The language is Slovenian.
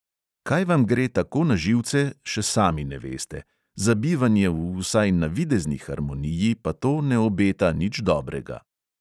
Kaj vam gre tako na živce, še sami ne veste, za bivanje v vsaj navidezni harmoniji pa to ne obeta nič dobrega.